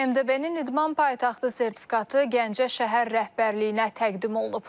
MDB-nin İdman Paytaxtı sertifikatı Gəncə şəhər rəhbərliyinə təqdim olunub.